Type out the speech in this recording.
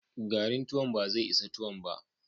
Garin tuwon ba zai isa tuwon ba.